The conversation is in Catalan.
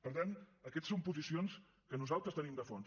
per tant aquestes són posicions que nosaltres tenim de fons